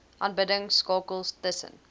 aanbidding skakels tussen